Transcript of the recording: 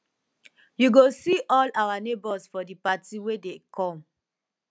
you go see all our neighbors for di party wey dey come